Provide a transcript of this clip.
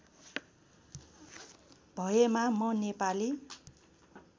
भएमा म नेपाली